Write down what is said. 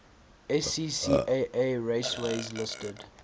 scca raceways listed